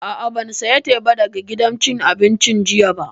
A'a, ban saya teba daga gidan cin abincin jiya ba